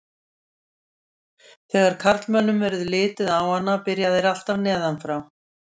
Þegar karlmönnum verður litið á hana byrja þeir alltaf neðan frá.